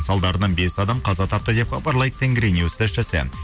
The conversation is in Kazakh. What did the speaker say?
салдарынан бес адам қаза тапты деп хабарлайды тенгринюс тілшісі